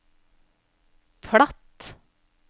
platt